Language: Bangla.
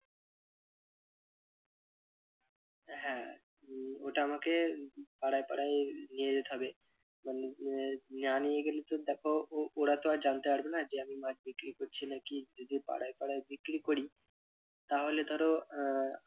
হ্যাঁ উহ ওটা আমাকে পাড়ায় পাড়ায় নিয়ে যেতে হবে মানে আহ না নিয়ে গেলে তো দেখো ওরা তো আর জানতে পারবে না যে আমি মাছ বিক্রি করছি নাকি যদি পাড়ায় পাড়ায় বিক্রি করি তাহলে ধরো আহ